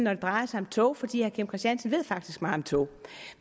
når det drejer sig om tog fordi herre kim christiansen faktisk ved meget om tog